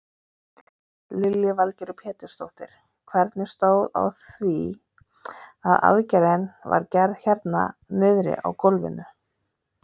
Lillý Valgerður Pétursdóttir: Hvernig stóð á því að aðgerðin var gerð hérna niðri á gólfi?